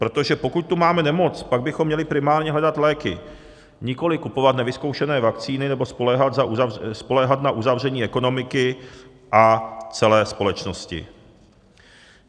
Protože pokud tu máme nemoc, pak bychom měli primárně hledat léky, nikoliv kupovat nevyzkoušené vakcíny nebo spoléhat na uzavření ekonomiky a celé společnosti.